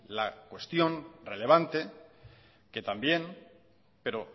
la cuestión relevante que también pero